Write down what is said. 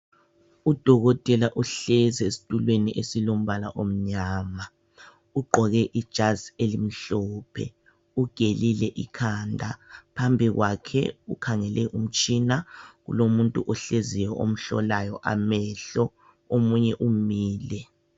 Udokotela uhlezi esitulweni esilombala omnyama ugqoke ijazi elimhlophe ugelile ikhanda. Phambi kwakhe ukhangele umtshina kulomuntu ohleziyo omhlolayo amehlo omunye umile.